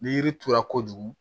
Ni yiri turula kojugu